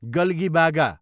गल्गिबागा